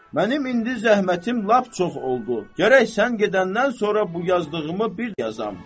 Mənim indi zəhmətim lap çox oldu, gərək sən gedəndən sonra bu yazdığımı bir yazam.